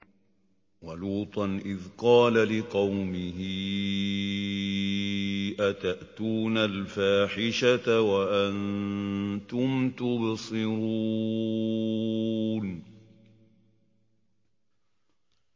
وَلُوطًا إِذْ قَالَ لِقَوْمِهِ أَتَأْتُونَ الْفَاحِشَةَ وَأَنتُمْ تُبْصِرُونَ